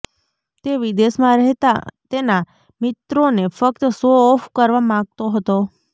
તે વિદેશમાં રહેતા તેના મિત્રોને ફ્કત શો ઓફ કરવા માગતો હતો